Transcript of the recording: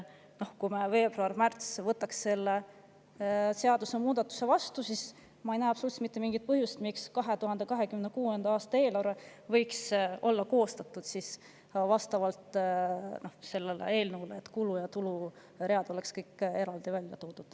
Kui me selle seadusemuudatuse veebruaris-märtsis vastu võtaksime, siis ma ei näe absoluutselt mitte mingisugust põhjust, miks ei võiks 2026. aasta eelarve olla koostatud selle eelnõu järgi ja nii, et kulu‑ ja tuluread oleksid kõik eraldi välja toodud.